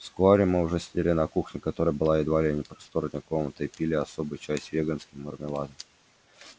вскоре мы уже сидели на кухне которая была едва ли не просторнее комнаты и пили особый чай с веганским мармеладом